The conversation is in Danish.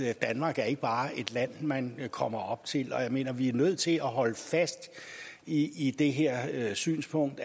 at danmark ikke bare er et land man kommer op til jeg mener at vi er nødt til at holde fast i i det her synspunkt